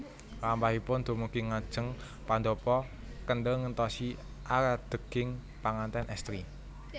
Lampahipun dumugi ngajeng pandhapa kendel ngentosi adeging panganten estri